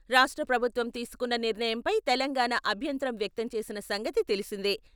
రాష్ట్ర ప్రభుత్వం తీసుకున్న నిర్ణయంపై తెలంగాణ అభ్యంతరం వ్యక్తం చేసిన సంగతి తెలిసిందే.